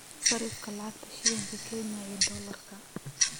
sarifka lacagta shilinka kenya iyo dollarka